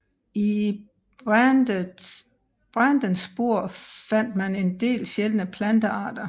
I brandens spor fandt man en del sjældne plantearter